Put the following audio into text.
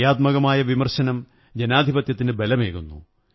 ക്രിയാത്മകമായ വിമര്ശണനം ജനാധിപത്യത്തിന് ബലമേകുന്നു